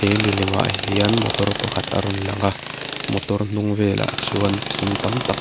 he milem ah hian motor pakhat a rawn lang a motor hnung vel ah chuan thing tam tak--